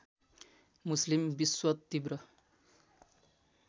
मुस्लिम विश्व तीब्र